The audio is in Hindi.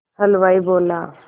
हलवाई बोला